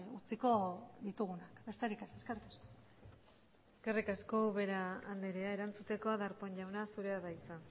utziko ditugunak besterik ez eskerrik asko eskerrik asko ubera andrea erantzuteko darpón jauna zurea da hitza